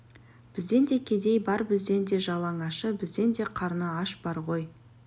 бізден де кедей бар бізден де жалаңашы бізден де қарны ашы бар ғой